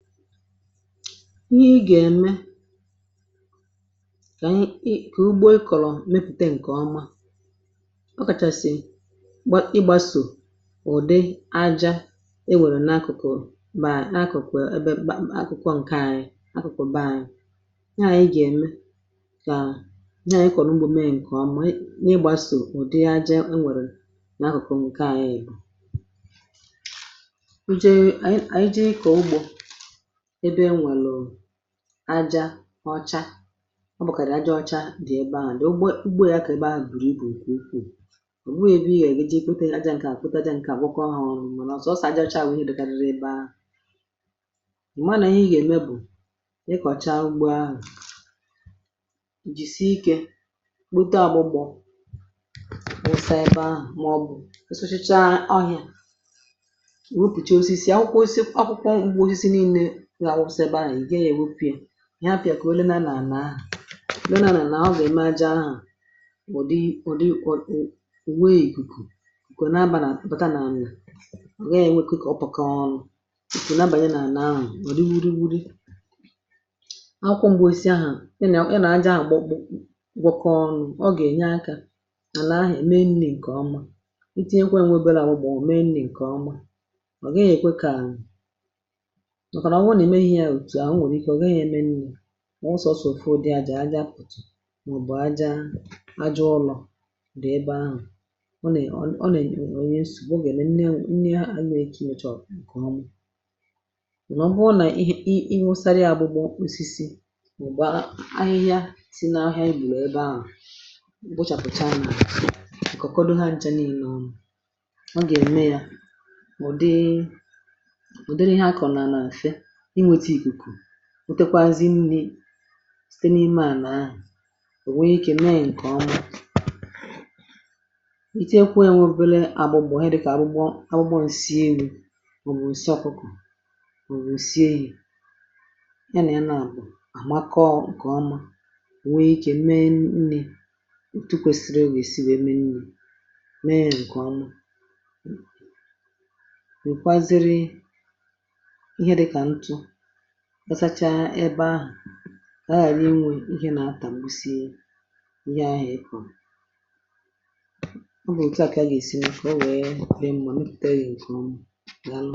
ǹdewo eh n’ẹ̀mẹ̀ ihe ị gà ẹmẹ kà ugbo ikòrò mẹpùte ǹkẹ̀ ọma ah ọ kàchàsì ị gbasò ụ̀dị ajȧ e nwèrè n’akụ̀kụ̀rụ̀ mà n’akụ̀kụ̀ ẹbẹ akụkụ nke anyị um akụkụ beanyị nyẹ ànyị gà ẹ̀mẹ kà nyẹ ị kọ̀rọ̀ ugbȯ mee ǹkẹ̀ ọma eh ị nịgbasò ụ̀dị ajȧ e nwèrè n’akụ̀kụ̀ nke anyị bù aja ọcha ọ bụ̀ kàrà aja ọcha dị̀ ebe ahụ̀. ugbo ya kà ebe ahụ̀ bùrù ibù ikwu̇. ọ̀ bụghị̇ ịgȧ ègwoji̇ pụtà mkà akpụtà mkà akpụkọ hụ̀rụ̀ um mà ọ̀ sọ̀ọ sọ̀ aja ọcha bụ̀ gị dàrà ebe ahụ̀. ò ma nà ihe ème bụ̀ ịkọ̀cha ugbo ahụ̀ jìsì ike kpote ọgbụgbọ̀ osisi ebe ahụ̀ ah mà ọ̀ bụ̀ kịsachicha ohi̇. ihe afịà kà o leenà nà à nà ha leenà nà eh nà ọ gà ème aja ahụ̀ ọ̀ dị ọ̀ dịkwȧ ùwe jìkù kà ò na bànà pàta nà àmla à gha ya enwėkwa ikė ọ̀pàkọ ọrụ kà o na abànyẹ nà ànà ahụ̀ um kà o ri wuri wuri akwụ m̀gbè e si ahụ̀ ị nà àja a gbọkpọ ọ̀ gbọkọ ọrụ ọ gà ènye akȧ ànà ahụ̀ ème nni ǹkè ọma itinyekwa ènwebe là bụ̀ gbọ̀ ah o menni ǹkè ọma ọ gà-ème ihe a nwèrè ike ọ gà-ème nni mọ̀ n’osọ̀sọ̀ ùfe ụ̀dị àjà àjà pùtù eh mà ọ̀ bụ̀ àjà àjà ọlọ̀ dị̀ ebe ahụ̀ ọ nè..ọ nè.nsù gà-ème nne ànyị eke ihe chọ̀rọ̀ ǹkè ọmụ̇ um mà ọ bụrụ nà ị ị ụsara ya abụgbọ osisi mà ọ̀ bụ̀ ahụ̀ ahịhịa si n’ahịa ibù ebe ahụ̀ m̀ gbochàpụ̀cha m kọ̀kọdụ ha nchȧ niilė ọ gà-ème ya ụ̀ dị otekwazị nni̇ site n’ime ànà ahụ̀ ah ò nwee ikė mee ǹkè ọma ìtụ ekwu̇ ènwėbėle àbụ̀ gbọ̀ ihe dị̇ kà àbụ̀ gbọǹ sie ru̇ ò nwèrè isi akpụkọ̀ ò nwèrè isie yȧ ya nà ya nà à bụ̀ àmakọ̇ ǹkè ọma eh nwee ikė mee nni̇ tukwesiri ewèsi wèe mee nni̇ri̇ mee ǹkè ọma wèe kwazịrị ọ̀zacha ebe ahụ̀ a ghàrị inwė ǹkè nà-atà m̀gbusie ihe ahụ̀ ịpụ̀ ọ bụ̀ òtu a kà a gà-èsi ǹkè ọ nwẹ̀ẹ kri mbuọ nepùte gị̇ ǹkẹ̀ ọ ah m